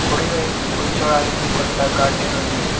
కుడివైపు కూర్చోడానికి కొంత గార్డెన్ ఉంది.